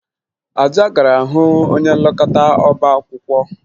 Ada gara hụ onye nlekọta ọbaakwụkwọ